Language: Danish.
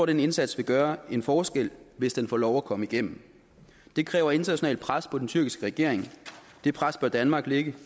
den indsats vil gøre en forskel hvis den får lov at komme igennem det kræver internationalt pres på den tyrkiske regering det pres bør danmark lægge